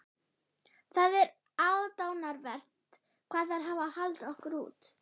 Það er aðdáunarvert hvað þær hafa haldið okkur út.